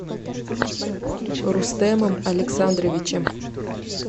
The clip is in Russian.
рустемом александровичем